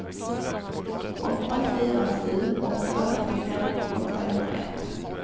åtta fyra sju åtta fyrtiofem åttahundraett